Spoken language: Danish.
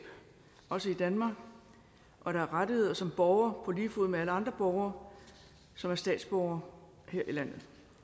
også i danmark og have rettigheder som borger på lige fod med alle andre borgere som er statsborgere her i landet